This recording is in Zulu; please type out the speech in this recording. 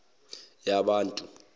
yabantu